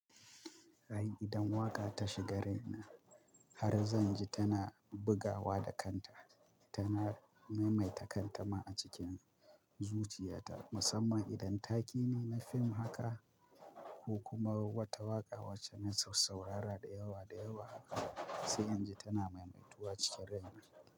Ai idan waka ta shiga raina har zanji tana bugawa da kanta tana maimaita kanta ma a cikin zuciyata. Musamman idan take ne na fim haka ko kuma wata waƙa wacce na sas saurara da yawa da yawa sai in ji tana maimaituwa cikin raina.